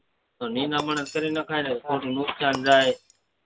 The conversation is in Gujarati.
તો નિદામણ જ કરી નખાય ને ખોટું નુકસાન જાય